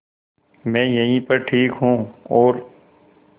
मैं यहीं पर ठीक हूँ और